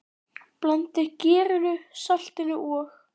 Blandið gerinu, saltinu og?